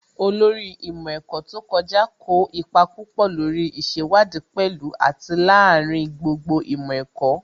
Olórí ìmọ̀ ẹ̀kọ́ tó kọjá kó ipa púpọ̀ lórí ìṣèwádìí pẹ̀lú àti lááríin gbogbo ìmọ̀ ẹ̀kọ́